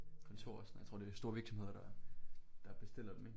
Kontor og sådan jeg tror det er store virksomheder der der bestiller dem ikke